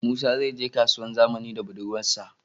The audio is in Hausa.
Musa zai je kasuwar zamani da budurwar sa